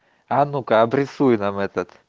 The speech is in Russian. а ну-ка обресуй нам этот